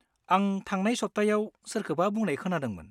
-आं थांनाय सप्तायाव सोरखौबा बुंनाय खोनादोंमोन।